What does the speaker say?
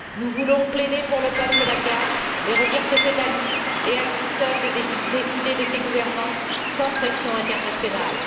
Nous voulons plaider pour le peuple malgache et redire que c'est à lui, et à lui seul, de décider de ses gouvernants, sans pressions internationales.